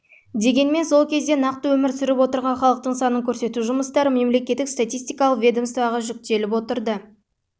дегенмен сол кезде нақты өмір сүріп отырған халықтың санын көрсету жұмыстары мемлекеттік статистикалық ведомствоға жүктеліп ол бойынша халық